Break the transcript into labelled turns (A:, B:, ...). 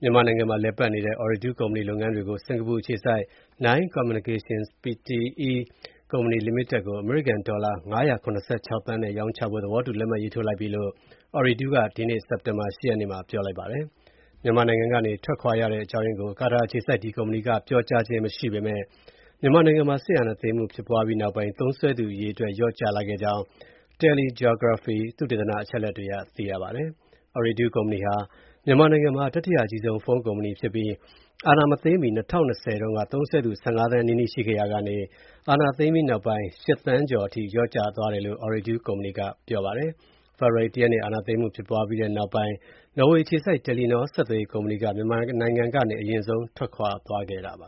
A: မြန်မာနိုင်ငံမှာလည်ပတ်နေတဲ့ အော်ရီဒူး ဆက်သွယ်ရေးကုမ္ပဏီရဲ့ လုပ်ငန်းတွေကို စင်္ကာပူအခြေစိုက် Nine Communications Pte. Ltd ကို အမေရိကန် ဒေါ်လာ ၅၇၆ သန်းနဲ့ ရောင်းချဖို့ သဘောတူလက်မှတ်ရေးထိုးလိုက်ပြီလို့ ကာတာအခြေစိုက် အော်ရီဒူးကုမ္ပဏီက ဒီကနေ့ စက်တင်ဘာ ၈ ရက်နေ့မှာ ပြောပါတယ်။ မြန်မာနိုင်ငံကနေ ထွက်ခွာရတဲ့အကြောင်းရင်းကို ကုမ္ပဏီကပြောကြားခြင်းမရှိပေမယ့် အာဏာသိမ်းမှု ဖြစ်ပွားပြီးနောက်ပိုင်း သုံးစွဲသူအရေအတွက် လျော့ကျခဲ့ကြောင်း TeleGeography သုတေသန အချက်အလက်တွေအရ သိရပါတယ်။ အော်ရီဒူးကုမ္ပဏီဟာ မြန်မာနိုင်ငံမှာ တတိယအကြီးဆုံး ဖုန်းကုမ္ပဏီဖြစ်ပြီး အာဏာမသိမ်းမီ ၂၀၂၀ တုန်းက သုံးစွဲသူ ၁၅ သန်းနီးနီးရှိခဲ့ရာက အာဏာသိမ်းပြီးနောက်ပိုင်း ၈ သန်းကျော် (၈.၃) အထိ လျော့ကျသွားတယ်လို့ အော်ရီဒူးကုမ္ပဏီက ပြောပါတယ်။ ဖေဖော်ဝါရီလ ၁ ရက်နေ့မှာ အာဏာသိမ်းမှု ဖြစ်ပွားပြီးနောက်ပိုင်း နော်ဝေးအခြေစိုက် တယ်လီနော ဆက်သွယ်ရေးကုမ္ပဏီက မြန်မာနိုင်ငံကနေ အရင်ဆုံး ထွက်ခွာသွားခဲ့တာပါ